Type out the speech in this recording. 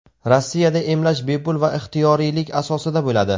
Rossiyada emlash bepul va ixtiyoriylik asosida bo‘ladi.